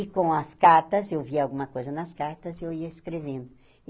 E com as cartas, eu via alguma coisa nas cartas, eu ia escrevendo.